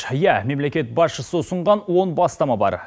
иә мемлекет басшысы ұсынған он бастама бар